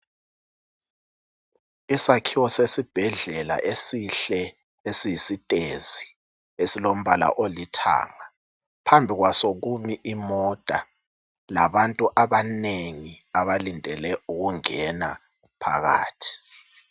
Isakhiwo sesibhedlela esihle , esiyisiteyesi esilombala olithanga, phambi kwaso kumi imota ngabantu abanengi abalindele ukungena phakathi.